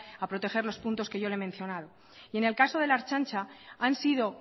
a proteger los puntos que yo le he mencionado y en el caso de la ertzaintza han sido